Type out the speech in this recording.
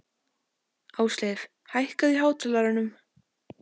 Ásleif, hækkaðu í hátalaranum.